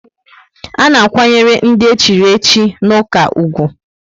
A na akwanyere ndị echiri echi n' ụka ùgwù